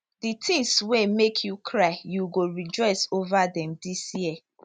di tins wey make you cry you go rejoice ova dem dis year